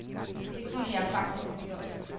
Det kunne jeg faktisk have gjort.